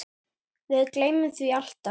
Við gleymum því alltaf